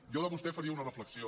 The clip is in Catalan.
jo de vostè faria una reflexió